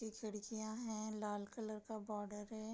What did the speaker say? ये खिड़कियाँ है लाल कलर का बॉर्डर है।